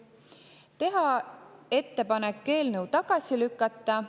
Teha ettepanek eelnõu tagasi lükata.